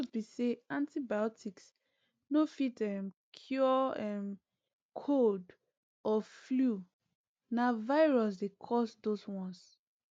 di truth be say antibiotics no fit um cure um cold or flu na virus dey cause those ones